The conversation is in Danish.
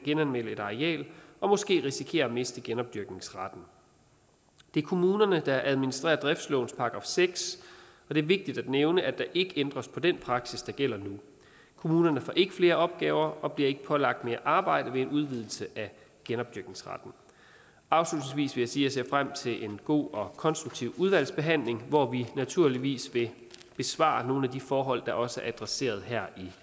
genanmelde et areal og måske risikere at miste genopdyrkningsretten det er kommunerne der administrerer driftslovens § seks og det er vigtigt at nævne at der ikke ændres på den praksis der gælder nu kommunerne får ikke flere opgaver og bliver ikke pålagt mere arbejde ved en udvidelse af genopdyrkningsretten afslutningsvis jeg ser frem til en god og konstruktiv udvalgsbehandling hvor vi naturligvis vil besvare nogle af de forhold der også er adresseret her i